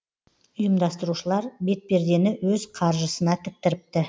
ұйымдастырушылар бетпердені өз қаржысына тіктіріпті